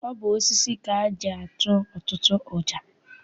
Ọ bụ osisi ka eji atụ ọtụtụ ọja.